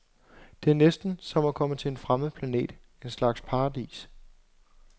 Det er næsten som at komme til en fremmed planet, en slags paradis.